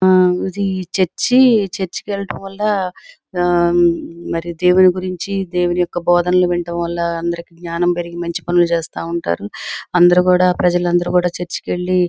ఆ ఇది church church కెళ్ళటం వళ్ళ ఆ మరి దేవుని గురించి దేవుని యొక్క బోధనలు వింటాం వల్ల అందరికి జ్ఞానం పెరిగి మంచి పనులు చేస్తా ఉంటారు . అందరు కూడా ప్రజలందరూ కూడా చర్చ్ కెళ్ళి--